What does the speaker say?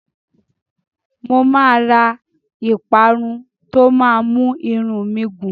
Mo máa ra ìparun tó máa mú irun mi gùn.